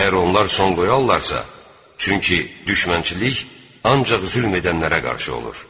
Əgər onlar son qoyarlarsa, çünki düşmənçilik ancaq zülm edənlərə qarşı olur.